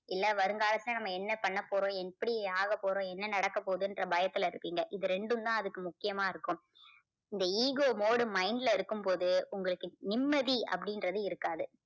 இல்ல வருங்காலத்துல நம்ம என்ன பண்ண போறோம் எப்படி ஆக போறோம் என்ன நடக்க போகுதுன்ற பயத்துல இருப்பீங்க. இது ரெண்டும் தான் அதுக்கு முக்கியமா இருக்கும். இந்த ego mode mind ல இருக்கும்போது உங்களுக்கு நிம்மதி அப்படின்றது இருக்காது.